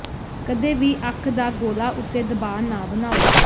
ਕਦੇ ਵੀ ਅੱਖ ਦਾ ਗੋਲਾ ਉੱਤੇ ਦਬਾਅ ਨਾ ਬਣਾਓ